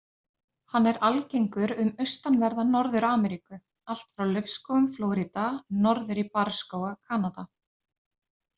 Hann er algengur um austanverða Norður-Ameríku, allt frá laufskógum Flórída norður í barrskóga Kanada.